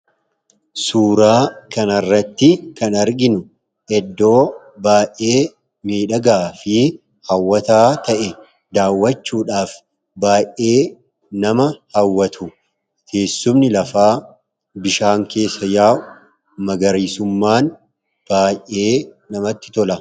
suuraa kan arratti kan arginu eddoo baa'ee meedhagaa fi haawataa ta'e daawwachuudhaaf baa'ee nama haawwatu teessumni lafaa bishaan keessa yaa'u magariisummaan baa'ee namatti tola